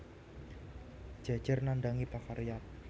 Jejer nandhangi pakaryan